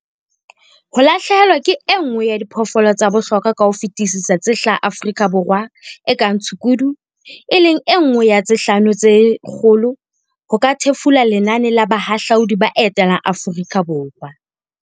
Ho lahlehelwa ke e nngwe ya diphoofolo tsa bohlokwa ka ho fetisisa tse hlaha Aforika Borwa e kang tshukudu, e leng e nngwe ya tse 'Hlano tse Kgolo' ho ka thefula lenane la bahahlaudi ba etelang Aforika Borwa.